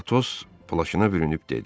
Atos plaşını bürünüb dedi.